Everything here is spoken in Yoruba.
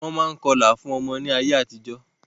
Wọ́n máa ń kọlà fún ọmọ ní ayé àtijó.